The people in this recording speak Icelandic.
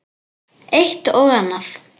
Eitt og annað.